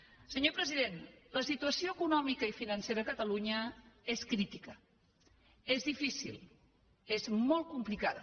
senyor president la situació econòmica i financera a catalunya és crítica és difícil és molt complicada